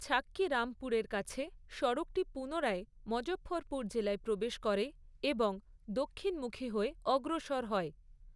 ছাক্কি রামপুরের কাছে সড়কটি পুনরায় মজঃফরপুর জেলায় প্রবেশ করে এবং দক্ষিণমুখী হয়ে অগ্রসর হয়।